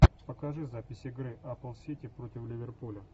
покажи запись игры апл сити против ливерпуля